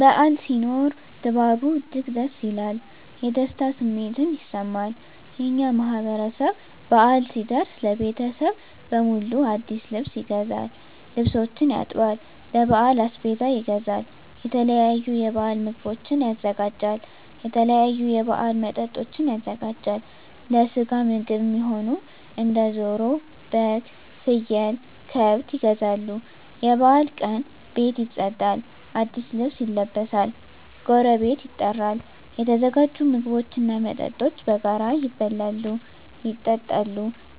በዓል ሲኖር ድባቡ እጅግ ደስ ይላል። የደስታ ስሜትም ይሰማል። የእኛ ማህበረሰብ በአል ሲደርስ ለቤተሰብ በሙሉ አዲስ ልብስ ይገዛል፤ ልብሶችን ያጥባል፤ ለበዓል አስቤዛ ይገዛል፤ የተለያዩ የበዓል ምግቦችን ያዘጋጃል፤ የተለያዩ የበዓል መጠጦችን ያዘጋጃል፤ ለስጋ ምግብ እሚሆኑ እንደ ደሮ፤ በግ፤ ፍየል፤ ከብት ይገዛሉ፤ የበዓሉ ቀን ቤት ይፀዳል፤ አዲስ ልብስ ይለበሳል፤ ጎረቤት ይጠራል፤ የተዘጋጁ ምግቦች እና መጠጦች በጋራ ይበላሉ፤ ይጠጣሉ፤